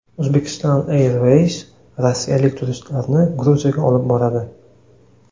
Uzbekistan Airways rossiyalik turistlarni Gruziyaga olib boradi.